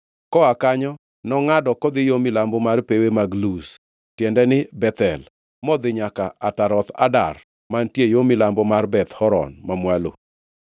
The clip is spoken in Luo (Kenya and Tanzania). Koa kanyo nongʼado kodhi yo milambo mar pewe mag Luz (tiende ni, Bethel), modhi nyaka Ataroth Adar mantiere yo milambo mar Beth Horon Mamwalo.